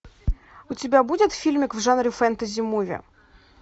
у тебя будет фильмик в жанре фэнтези муви